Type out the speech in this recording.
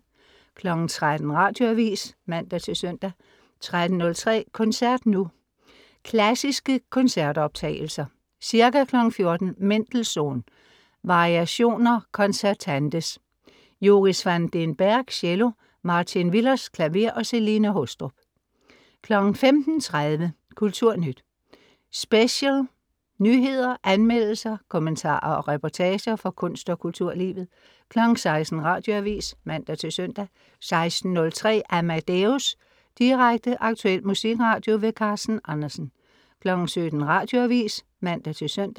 13.00 Radioavis (man-søn) 13.03 Koncert nu. Klassiske koncertoptagelser. Ca. 14.00 Mendelssohn: Variations concertantes. Joris van den Berg, cello. Martijn Willers, klaver. Celine Haastrup 15.30 Kulturnyt Special. nyheder, anmeldelser, kommentarer og reportager, fra kunst og kulturlivet 16.00 Radioavis (man-søn) 16.03 Amadeus. Direkte, aktuel musikradio. Carsten Andersen 17.00 Radioavis (man-søn)